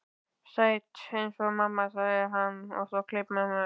Sæt eins og mamma, sagði hann svo og kleip mömmu.